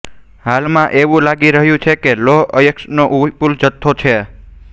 હાલમાં એવું લાગી રહ્યું છે કે લોહ અયસ્કનો વિપુલ જથ્થો છે